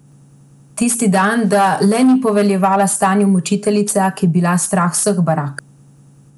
Tisti dan, da le ni poveljevala stanju mučiteljica, ki je bila strah vseh barak!